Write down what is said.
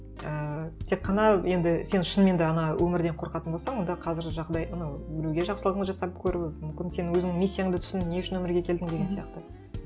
ііі тек қана енді сен шынымен де ана өмірден қорқатын болсаң онда қазір жағдай ну біреуге жақсылығын жасап көру мүмкін сен өзіңнің миссияңды түсіңдің не үшін өмірге келдің деген сияқты